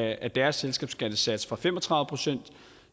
af deres selskabsskattesats fra fem og tredive procent